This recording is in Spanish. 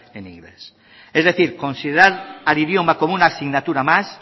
en inglés es decir considerar al idioma como una asignatura más